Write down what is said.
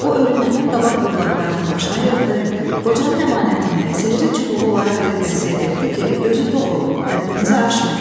O ölümündən qabaq övladlarını başına yığdı, qocanın əmanətini, sehri çubuğu onlara verib vəsiyyət etdi ki, gözü tox olun, həddinizi aşmayın.